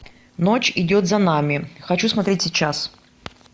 ночь идет за нами хочу смотреть сейчас